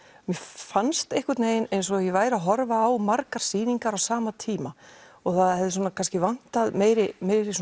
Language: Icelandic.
mér fannst einhvern veginn eins og ég væri að horfa á margar sýningar á sama tíma og það hafi kannski vantað meiri meiri